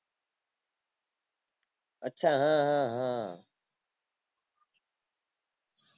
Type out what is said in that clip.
અચ્છા હા હા હા